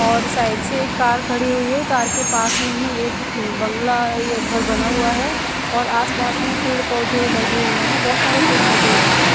और साइड से एक कार खड़ी हुई है कार के पास में ही बंगला ये घर बना हुआ है और आस पास में पेड़ पौधे लगे हुए है बोहत सारे पेड़ लगे हुए है।